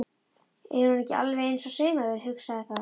Er hún ekki alveg eins og saumavél, hugsaði það.